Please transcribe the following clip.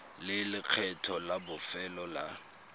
le lekgetho la bofelo la